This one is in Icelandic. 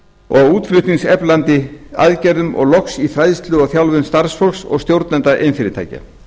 og útflutningseflandi aðgerðum og loks í fræðslu og þjálfun starfsfólks og stjórnenda iðnfyrirtækja